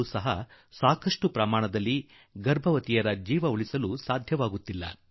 ಆದರೂ ಕೂಡಾ ಇಂದಿಗೂ ಬಹು ದೊಡ್ಡ ಸಂಖ್ಯೆಯಲ್ಲಿ ಗರ್ಭವತಿ ತಾಯಂದಿರ ಪ್ರಾಣ ಉಳಿಸಲು ಆಗುತ್ತಿಲ್ಲ